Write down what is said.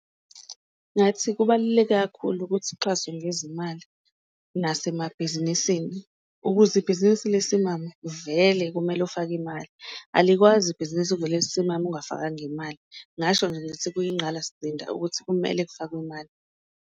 Ngathi kubaluleke kakhulu ukuthi uxhaswe ngezimali nasemabhizinisini ukuze ibhizinisi lisimame vele kumele ufake imali, alikwazi ibhizinisi ukuvele lisimame ungafakanga imali ngasho ngithi kuyingqalasizinda ukuthi kumele kufakwe imali.